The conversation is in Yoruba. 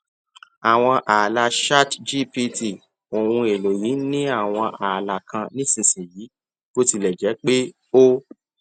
àwọn ààlà chatgpt ohun èlò yìí ní àwọn ààlà kan nísinsìnyí bó tilẹ jẹ pé ó